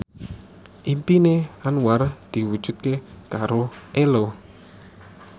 impine Anwar diwujudke karo Ello